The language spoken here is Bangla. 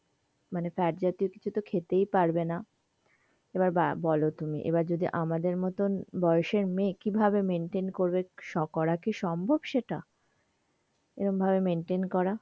মানে fat জাতীয় কিছু তো খেতেই পারবে না, এবার বলো তুমি, এবার যদি আমাদের মতন বয়সের মেয়ে কি ভাবে maintain করবে করা কি সম্ভব সেটা? এই রকম maintain করা.